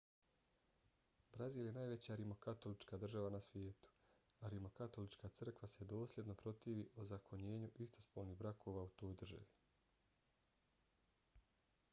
brazil je najveća rimokatolička država na svijetu a rimokatolička crkva se dosljedno protivi ozakonjenju istopolnih brakova u toj državi